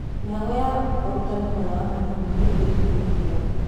Mĩhang'o ya ũtarani mwena wa Malindi nĩũtĩririo nĩ mbura